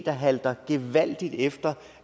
der halter gevaldigt efter